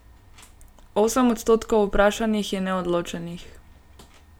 Osem odstotkov vprašanih je neodločenih.